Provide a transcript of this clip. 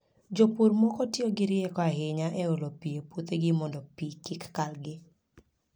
Jopur moko tiyo gi rieko ahinya e olo pi e puothegi mondo pi kik kalgi.